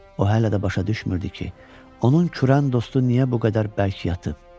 O hələ də başa düşmürdü ki, onun kürən dostu niyə bu qədər bərk yatıb.